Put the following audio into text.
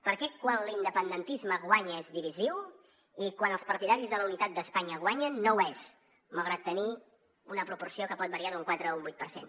per què quan l’independentisme guanya és divisiu i quan els partidaris de la unitat d’espanya guanyen no ho és malgrat tenir una proporció que pot variar d’un quatre a un vuit per cent